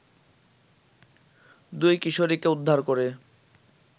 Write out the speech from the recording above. দুই কিশোরীকে উদ্ধার করে